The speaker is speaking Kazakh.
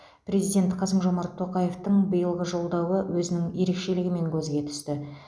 президент қасым жомарт тоқаевтың биылғы жолдауы өзінің ерекшелігімен көзге түсті